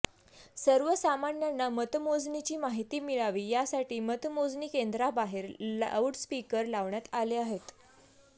सर्वसामान्यांना मतमोजणीची माहिती मिळावी यासाठी मतमोजणी केंद्राबाहेर लाऊड स्पीकर लावण्यात आले आहेत